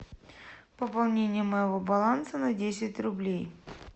пополнение моего баланса на десять рублей